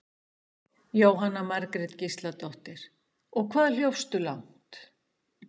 Jóhanna Margrét Gísladóttir: Og hvað hljópstu langt?